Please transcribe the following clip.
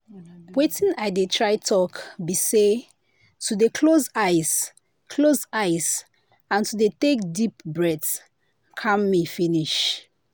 watin i dey try talk be say to dey close eyes close eyes and to dey take deep breath calm me finish.